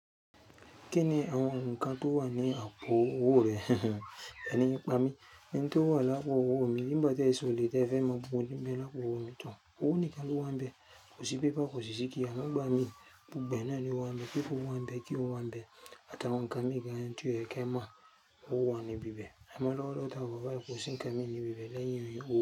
Kíni àwọn ǹkan tó wà ní àpo-owó rẹ? Erin yin n pámí, ẹni tó wà lá àpo-owó mi, ìgbà tí è n solè tè fẹ́ mo mo yemi lọ́wọ́ mi tán. Ówo mkí n lo wáńbẹ, kò sí paper, kò sí sí key, àmọ́ ìgbà mi gbogbo ẹ náà ni o wáńbẹ. Paper o wáńbẹ key o wáńbẹ? Àti àwọn ǹkan mí gan tí ó yẹ kí a mọ̀, ó ń wá wọn níbí bẹ́ẹ̀. Àmọ́ lọ́wọ́lọ́wọ́ táa wà bà yìí, kò sì ńkan mí níbí bẹ́ẹ̀, lẹ́yìn owò.